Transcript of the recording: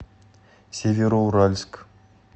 североуральск